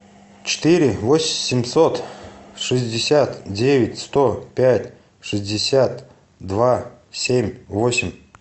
четыре восемьсот шестьдесят девять сто пять шестьдесят два семь восемь